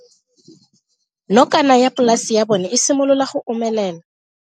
Nokana ya polase ya bona, e simolola go omelela.